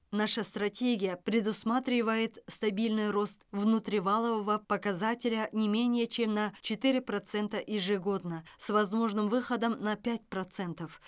наша стратегия предусматривает стабильный рост внутри валового показателя не менее чем на четыре процента ежегодно с возможным выходом на пять процентов